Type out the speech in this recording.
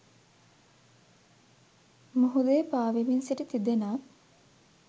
මුහුදේ පාවෙමින් සිටි තිදෙනක්